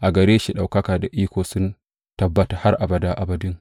A gare shi ɗaukaka da iko sun tabbata har abada abadin.